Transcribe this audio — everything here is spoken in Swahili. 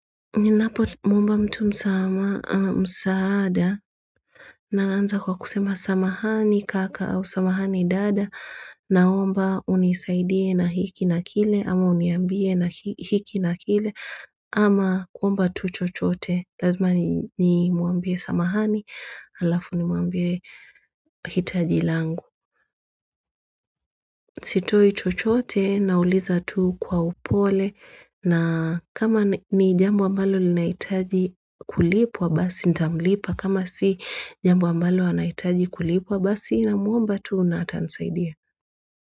Napomwomba mtu msaada naanza kwa kusema samahani kaka au samahani dada naomba unisaidie na hiki na kile ama uniambie na hiki na kile ama kuomba tu chochote. Lazima nimwambie samahani, alafu nimwambie hitaji langu. Sitoi chochote nauliza tu kwa upole na kama ni jambo ambalo linahitaji kulipwa basi nitamlipa. Kama si jambo ambalo anahitaji kulipwa basi namwomba tu na atanisaidia.